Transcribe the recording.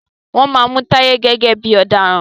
wón má Mú Taye gẹ́gẹ́ bí ọ̀daràn.